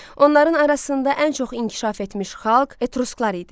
Onların arasında ən çox inkişaf etmiş xalq etrusklar idi.